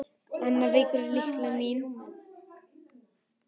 Annar veikur punktur á námsferli Stjána var skriftin.